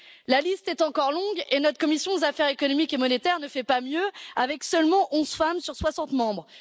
La liste est encore longue et notre commission aux affaires économiques et monétaires ne fait pas mieux, avec seulement 11 femmes sur 60 membres.